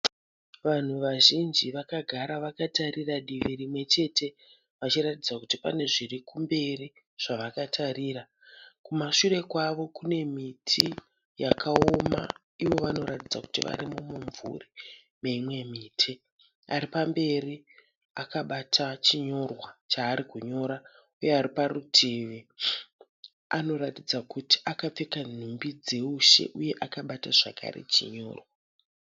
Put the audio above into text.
Vanhu vazhinji Vakagara vakatarira divi rinwe chete. Vachiratidza kuti pane zviri kumberi zvavakatarira. Kumashure kwavo kune miti yakaoma ivo vanoratidza kuti vari mumumvuri meimwe miti. Ari pamberi akabata chinyorwa chaari kunyora. Uye ari parutivi anoratidza kuti akapfeka nhumbi dzoushe uye akabata zvakare chinyorwa.